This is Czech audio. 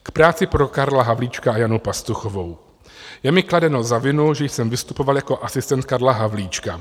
K práci pro Karla Havlíčka a Janu Pastuchovou: je mi kladeno za vinu, že jsem vystupoval jako asistent Karla Havlíčka.